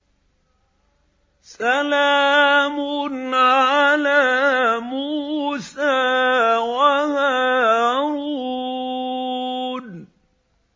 سَلَامٌ عَلَىٰ مُوسَىٰ وَهَارُونَ